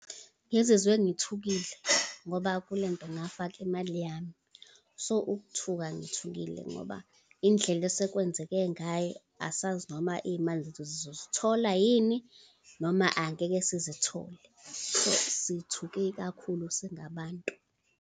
Ngizizwe ngithukile, ngoba kule nto ngafaka imali yami. So, ukuthuthuka ngithukile ngoba indlela esekwenzeke ngayo, asazi noma iy'mali zethu sizozithola yini, noma angeke sizithole. Sithuke kakhulu singabantu.